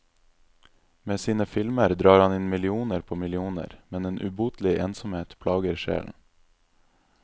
Med sine filmer drar han inn millioner på millioner, men en ubotelig ensomhet plager sjelen.